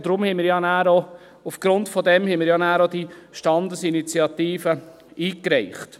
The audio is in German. Deshalb haben wir ja danach auch diese Standesinitiative eingereicht.